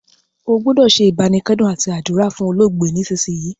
O gbúdò se ìbánikẹ́dùn àti àdúrà fún olóògbé nísinsìnyì